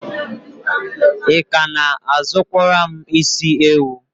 Ị ka na-azụkwara m isi ewu?